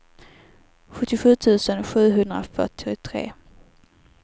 sjuttiosju tusen sjuhundrafyrtiotre